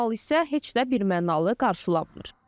Bu hal isə heç də birmənalı qarşılanmır.